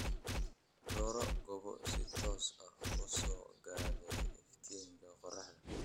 Dooro goobo si toos ah u soo gaadhay iftiinka qorraxda.